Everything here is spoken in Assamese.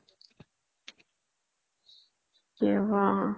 অ